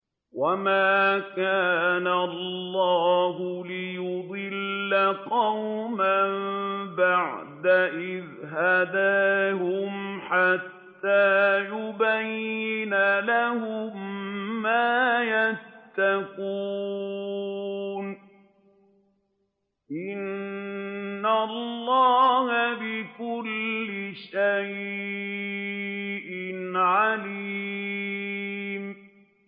وَمَا كَانَ اللَّهُ لِيُضِلَّ قَوْمًا بَعْدَ إِذْ هَدَاهُمْ حَتَّىٰ يُبَيِّنَ لَهُم مَّا يَتَّقُونَ ۚ إِنَّ اللَّهَ بِكُلِّ شَيْءٍ عَلِيمٌ